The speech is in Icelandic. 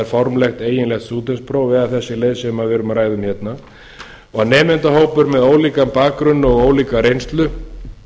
formlegt eiginlegt stúdentspróf eða þessi leið sem við erum að ræða um hérna og að nemendahópur með ólíkan bakgrunn og ólíka reynslu